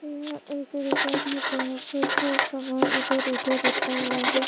यहाँ एक दुकान है जहाँ पर सब सामान इधर-उधर रखा हुआ है।